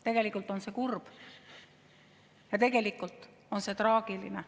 Tegelikult on see kurb ja see on traagiline.